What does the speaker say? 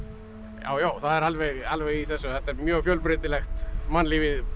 já já það er alveg alveg í þessu þetta er mjög fjölbreytilegt mannlífið